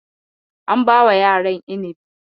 An bawa yaran inibi.